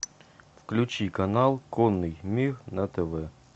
включи канал конный мир на тв